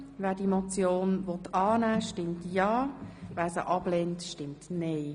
Wer diese Motion annehmen will, stimmt ja, wer sie ablehnt, stimmt nein.